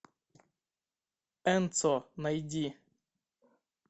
энцо найди